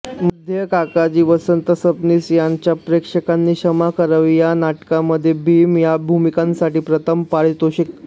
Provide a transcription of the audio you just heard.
मध्ये काकाजी वसंत सबनीस यांच्या प्रेक्षकांनी क्षमा करावी या नाटकामध्ये भीम या भूमिकांसाठी प्रथम पारितोषिके